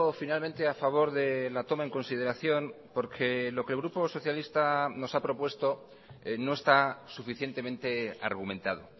finalmente a favor de la toma en consideración porque lo que el grupo socialista nos ha propuesto no está suficientemente argumentado